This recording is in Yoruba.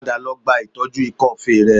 Padà lọ gba ìtọ́jú ikọ́ọfe rẹ